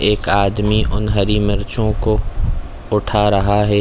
एक आदमी उन हरी मिर्चो को उठा रहा है।